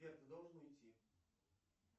сбер ты должен уйти